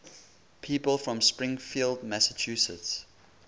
people from springfield massachusetts